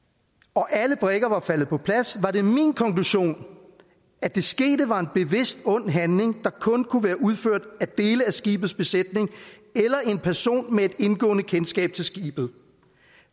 og alle brikker var faldet på plads var det min konklusion at det skete var en bevidst ond handling der kun kunne være udført af dele af skibets besætning eller en person med et indgående kendskab til skibet